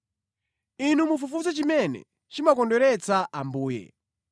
Inu mufufuze chimene chimakondweretsa Ambuye.